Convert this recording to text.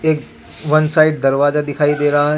एक one side दरवाजा दिखाई दे रहा है.